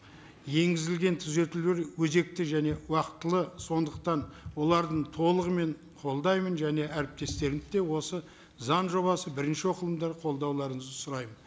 енгізілген түзетулер өзекті және уақытылы сондықтан оларды толығымен қолдаймын және әріптестерімді де осы заң жобасын бірінші оқылымда қолдауларыңызды сұраймын